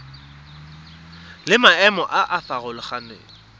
le maemo a a farologaneng